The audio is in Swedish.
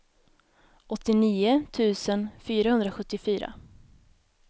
åttionio tusen fyrahundrasjuttiofyra